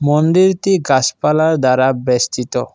মন্দিরতি গাছপালার দ্বারা বেষ্টিত।